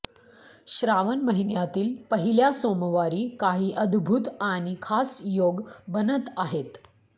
श्रावण महिन्यातील पहिल्या सोमवारी काही अद्भूत आणि खास योग बनत आहेत